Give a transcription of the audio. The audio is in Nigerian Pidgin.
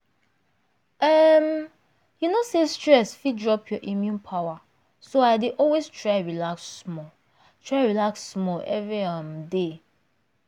um you know say stress fit drop your immune power so i dey always try relax small try relax small every um day